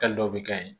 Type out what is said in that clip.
Kan dɔw bɛ kɛ yen